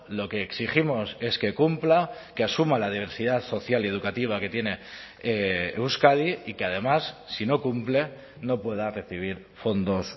lo que exigimos es que cumpla que asuma la diversidad social y educativa que tiene euskadi y que además si no cumple no pueda recibir fondos